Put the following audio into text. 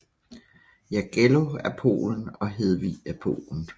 Jagello af Polen og Hedvig af Polen